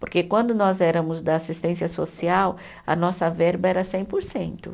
Porque quando nós éramos da assistência social, a nossa verba era cem por cento